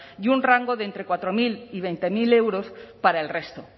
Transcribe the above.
y un rango de entre cuatro mil y veinte mil euros para el resto